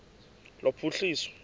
lophuhliso